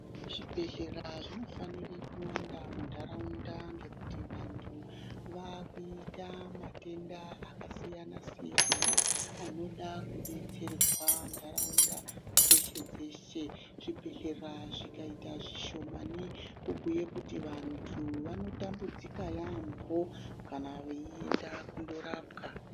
Zvibhedhlera zvinofanira kuwanda muntaraunda ngokuti vantu vakuita matenda akasiyana siyana anoda kudetserwa ntaraunda dzeshe dzeshe. Zvibhedhlera zvikaita zvishomani kubhuye kuti vantu vanotambudzika yampho kana veida kundorapwa.